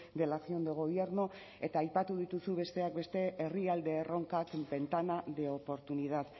de la acción de gobierno eta aipatu dituzu besteak beste herrialde erronka ventana de oportunidad